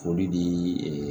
Foli di e